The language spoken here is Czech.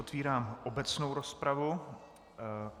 Otvírám obecnou rozpravu.